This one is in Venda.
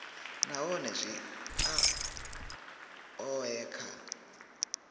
nahone zwi a oea kha